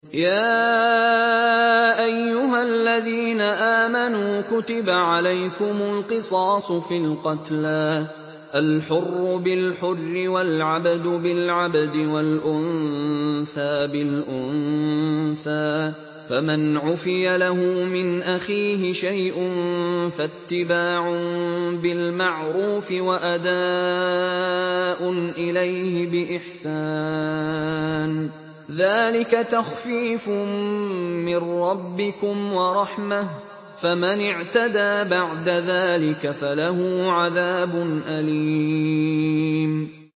يَا أَيُّهَا الَّذِينَ آمَنُوا كُتِبَ عَلَيْكُمُ الْقِصَاصُ فِي الْقَتْلَى ۖ الْحُرُّ بِالْحُرِّ وَالْعَبْدُ بِالْعَبْدِ وَالْأُنثَىٰ بِالْأُنثَىٰ ۚ فَمَنْ عُفِيَ لَهُ مِنْ أَخِيهِ شَيْءٌ فَاتِّبَاعٌ بِالْمَعْرُوفِ وَأَدَاءٌ إِلَيْهِ بِإِحْسَانٍ ۗ ذَٰلِكَ تَخْفِيفٌ مِّن رَّبِّكُمْ وَرَحْمَةٌ ۗ فَمَنِ اعْتَدَىٰ بَعْدَ ذَٰلِكَ فَلَهُ عَذَابٌ أَلِيمٌ